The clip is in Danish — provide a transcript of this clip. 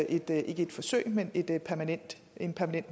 ikke et forsøg men en permanent